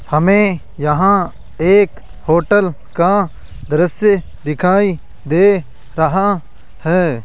हमें यहां एक होटल का दृश्य दिखाई दे रहा है।